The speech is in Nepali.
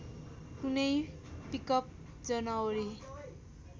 कुनै पिकअप जनवरी